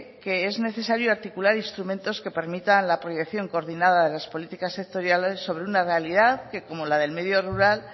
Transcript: que es necesario articular instrumentos que permitan la proyección coordinada de las políticas sectoriales sobre una realidad que como la del medio rural